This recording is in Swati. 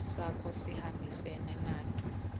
sakho sihambisene nato